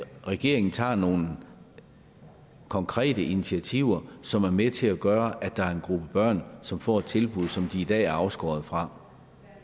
regeringen tager nogle konkrete initiativer som er med til at gøre at der er en gruppe børn som får et tilbud som de i dag er afskåret fra